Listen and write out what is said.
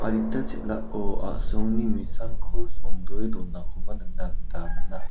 adita chel·ao asongni nisanko songdoe donakoba nikna gita man·a.